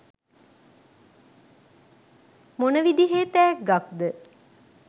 මොන විදිහේ තෑග්ගක්ද?